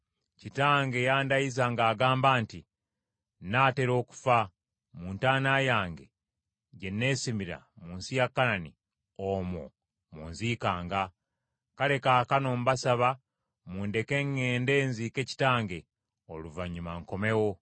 ‘Kitange yandayiza ng’agamba nti, “Nnaatera okufa; mu ntaana yange gye nesimira mu nsi ya Kanani, omwo mw’onziikanga.” Kale kaakano mbasaba mundeke ŋŋende nziike kitange; oluvannyuma nkomewo.’ ”